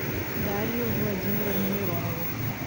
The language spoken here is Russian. дарью владимировну миронову